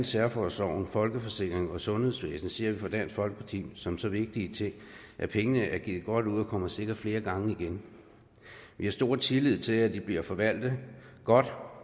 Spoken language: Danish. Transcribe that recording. særforsorgen folkeforsikringen og sundhedsvæsenet ser vi i dansk folkeparti som så vigtige ting at pengene er givet godt ud og sikkert kommer flere gange igen vi har stor tillid til at de bliver forvaltet godt